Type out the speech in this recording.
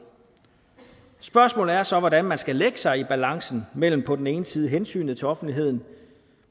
spørgsmålet er så hvordan man skal lægge sig i balancen mellem på den ene side hensynet til offentligheden og